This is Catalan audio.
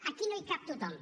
aquí no hi cap tothom